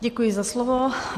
Děkuji za slovo.